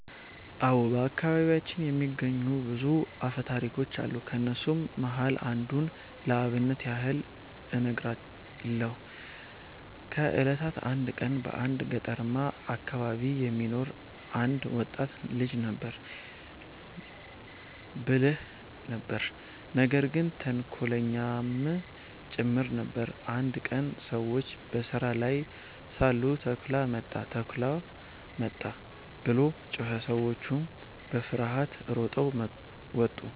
አዎ። በአከባቢያችን የሚነገሩ ብዙ አፈታሪኮች አሉ። ከነሱም መሃል አንዱን ለአብነት ያህል እነግርሃለው። ከ እለታት አንድ ቀን በአንድ ገጠርማ አከባቢ የሚኖር አንድ ወጣት ልጅ ነበረ። ብልህ ነበር ነገር ግን ተንኮለኛም ጭምር ነበር። አንድ ቀን ሰዎች በስራ ላይ ሳሉ “ተኩላ መጣ! ተኩላ መጣ!” ብሎ ጮኸ። ሰዎቹም በፍርሃት ሮጠው መጡ፣